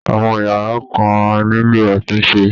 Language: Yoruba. Àwọn yàrá kan á nílò àtúnṣe